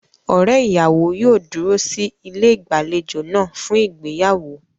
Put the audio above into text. Ọ̀rẹ́ ìyàwó yóò dúró sí ilé ìgbàlejò náà fún ìgbéyàwó.